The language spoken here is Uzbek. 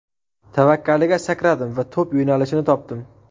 Tavakkaliga sakradim va to‘p yo‘nalishini topdim.